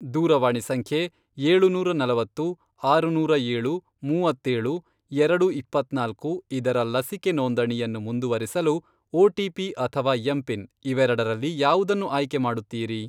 ದೂರವಾಣಿ ಸಂಖ್ಯೆ, ಏಳುನೂರಾ ನಲವತ್ತು, ಆರುನೂರ ಏಳು, ಮೂವತ್ತೇಳು, ಎರಡು ಇಪ್ಪತ್ನಾಲ್ಕು, ಇದರ ಲಸಿಕೆ ನೋಂದಣಿಯನ್ನು ಮುಂದುವರಿಸಲು ಒಟಿಪಿ ಅಥವಾ ಎಂಪಿನ್ ಇವೆರಡರಲ್ಲಿ ಯಾವುದನ್ನು ಆಯ್ಕೆ ಮಾಡುತ್ತೀರಿ?